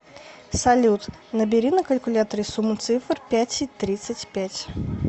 салют набери на калькуляторе сумму цифр пять и тридцать пять